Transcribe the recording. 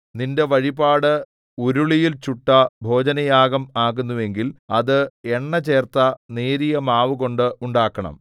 നിന്റെ വഴിപാട് ഉരുളിയിൽ ചുട്ട ഭോജനയാഗം ആകുന്നുവെങ്കിൽ അത് എണ്ണചേർത്ത നേരിയമാവുകൊണ്ട് ഉണ്ടാക്കണം